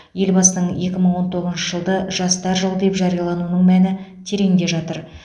елбасының екі мың он тоғызыншы жылды жастар жылы деп жариялауының мәні тереңде жатыр